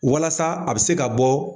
Walasa a bɛ se ka bɔ